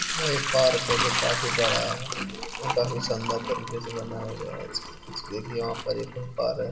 यहाँ एक पार्क है जो काफी बड़ा है काफी शानदार तरीके से बनाया गया है देखिए है।